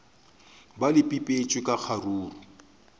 be le bipetšwe ka kgaruru